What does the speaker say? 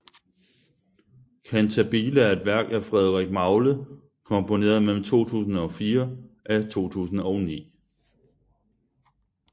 Cantabile er et værk af Frederik Magle komponeret mellem 2004 af 2009